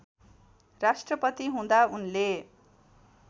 राष्ट्रपति हुँदा उनले